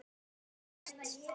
Ég get lítið gert.